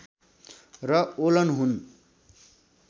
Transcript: र ओलन हुन्